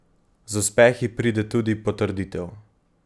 Z uspehi pride tudi potrditev.